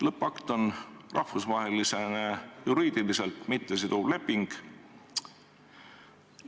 Lõppakt on rahvusvaheliselt juriidiliselt mittesiduv leping.